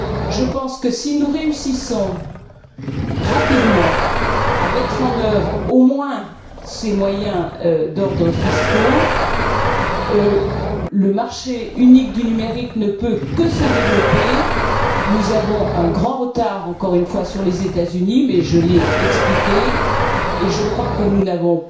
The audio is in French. Je pense que si nous réussissons rapidement à mettre en œuvre au moins ces moyens d'ordre fiscal, le marché unique du numérique ne peut que se développer. Nous avons un grand retard encore une fois sur les États Unis, mais je l'ai expliqué, et je crois que nous n'avons